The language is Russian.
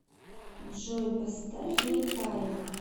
джой поставь микая